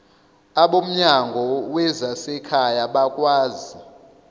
abomnyango wezasekhaya bakwazi